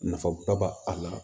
Nafaba b'a a la